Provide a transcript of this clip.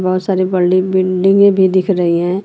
बहुत सारी बड़ी बिल्डिंग भी दिख रही है।